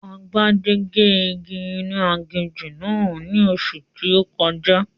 Agbájé gé igi inú aginjù náà ní oṣù tí ó kọjá